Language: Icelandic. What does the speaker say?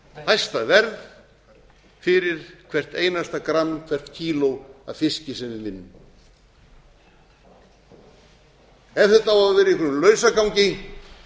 hæsta verð fyrir hvert einasta gramm hvert kíló af fiski sem við vinnum ef þetta á að vera í einhverjum lausagangi